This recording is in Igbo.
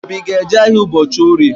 Obi a ga-eje ahịa ụbọchị Orie?